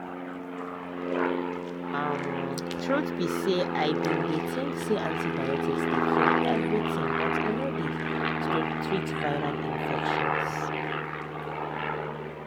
umtruth be say i bin dey think say antibiotics dey cure everything but e no dey treat viral infections.